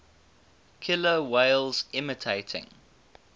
killer whales imitating